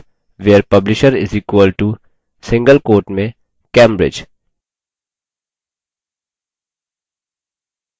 from books